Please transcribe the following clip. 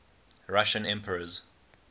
russian emperors